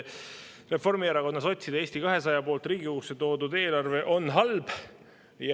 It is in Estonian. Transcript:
Reformierakonna, sotside ja Eesti 200 poolt Riigikogusse toodud eelarve on halb.